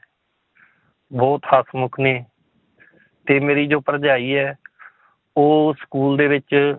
ਬਹੁਤ ਹਸਮੁੱਖ ਨੇ ਤੇ ਮੇਰੀ ਜੋ ਭਰਜਾਈ ਹੈ ਉਹ school ਦੇ ਵਿੱਚ